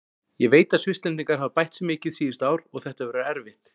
Ég veit að Svisslendingar hafa bætt sig mikið síðustu ár og þetta verður erfitt.